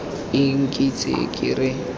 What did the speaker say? eng ke ntse ke re